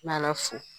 M'ala fo